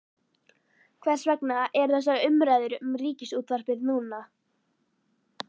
Hvers vegna eru þessar umræður um Ríkisútvarpið núna?